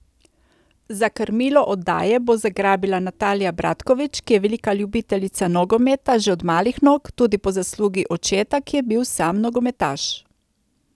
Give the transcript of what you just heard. Za krmilo oddaje bo zagrabila Natalija Bratkovič, ki je velika ljubiteljica nogometa že od malih nog, tudi po zaslugi očeta, ki je bil sam nogometaš.